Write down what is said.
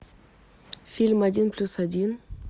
фильм один плюс один